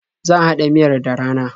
Zan haɗa miyar da rana.